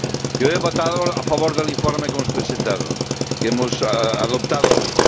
Yo he votado a favor del informe que hemos presentado, que hemos adoptado hoy.